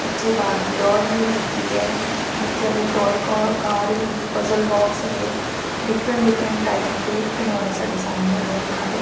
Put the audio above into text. ਇਥੇ Barbie doll ਵੀ ਹੈਗੀ ਹ ਬੱਚਿਆਂ ਦੀ ਟੋਇ ਕਾਰ ਵੀ ਹੀਗੀ ਪਜਲ ਬਾਕਸ ਹੈਗੇ ਡਿਫਰੈਂਟ ਡਿਫਰੈਂਟ ਟਾਈਪ ਦੇ ਖਿਡੋਣੇ ਸਾਡੇ ਸਾਹਮਣੇ ਹੇਗੇ ਅੱਖਾਂ ਦੇ।